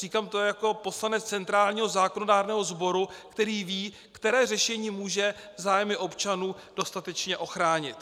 Říkám to jako poslanec centrálního zákonodárného sboru, který ví, které řešení může zájmy občanů dostatečně ochránit.